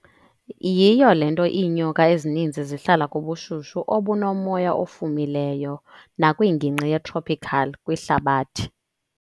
Yiyi le nto iinyoka ezininzi zihlala kubushushu obunomoya ofumileyo bakwingingqi yetropical kwihlabathi.